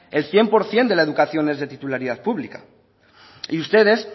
el cien por ciento de la educación es de titularidad pública y ustedes